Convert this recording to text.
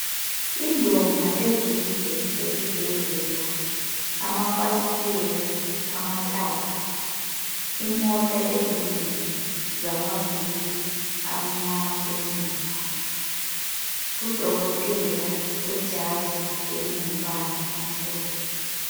Indonga ezinde zesibhedlela, amafasitela amathathu, imota ezimbili zamavili amnyama emuva, udokotela wejazi elingumbala omhlophe.